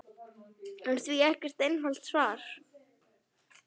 er því ekkert einfalt svar.